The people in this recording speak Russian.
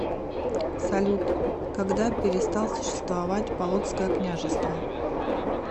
салют когда перестал существовать полоцкое княжество